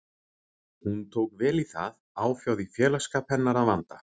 Hún tók vel í það, áfjáð í félagsskap hennar að vanda.